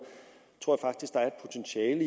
er